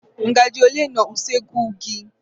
Ngaji ole nọ n'usekwu gị?